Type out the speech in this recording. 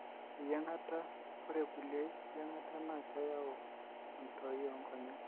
eyiangata, ore kulie yiangata na keyau entoi onkonyek.